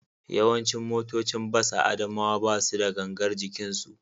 Yawancin motocin bas a Adamawa ba su da gangar jikinsu